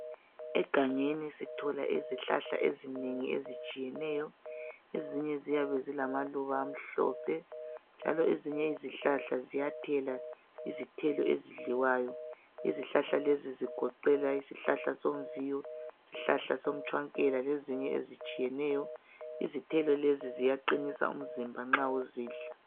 Egangeni sithola izihlahla ezinengi ezitshiyeneyo. Ezinye ziyabe zilamaluba amhlophe njalo ezinye izihlahla ziyathela izithelo ezidliwayo. lzihlahla lezi zigoqela isihlahla somviyo, somtsvangela lezinye ezitshiyeneyo. Izithelo lezi ziyaqinisa umzimba nxa uzidla.